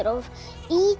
í